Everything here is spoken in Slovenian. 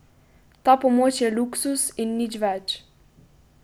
Ta pomoč je luksuz in nič več.